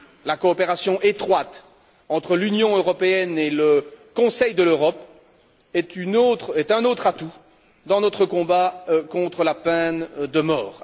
La coopération étroite entre l'Union européenne et le Conseil de l'Europe est un autre atout dans notre combat contre la peine de mort.